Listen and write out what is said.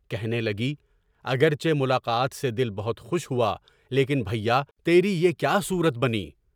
کہنے لگی "اگرچہ ملاقات سے دل بہت خوش ہوا، لیکن بھیا، تیری یہ کیا صورت بنی؟"